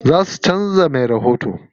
Za su canza me rahoto.